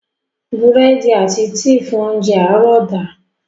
Búrẹ́dì àti tíì fún óńjẹ àárọ̀ da.